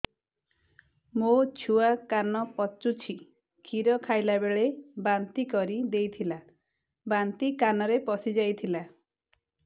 ମୋ ଛୁଆ କାନ ପଚୁଛି କ୍ଷୀର ଖାଇଲାବେଳେ ବାନ୍ତି କରି ଦେଇଥିଲା ବାନ୍ତି କାନରେ ପଶିଯାଇ ଥିଲା